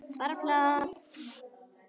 Bara plat.